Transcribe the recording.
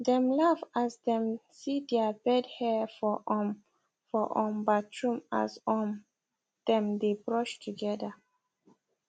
dem laugh as dem see their bed hair for um for um bathroom as um dem dae brush together